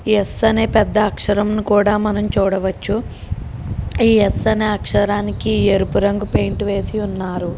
స్ అనే పెద్ద అక్షరం ను కూడా మనం చూడవచ్చు ఈ స్ అనే అక్షరానికి ఎరుపు రంగు పెయింట్ వేసియున్నారు.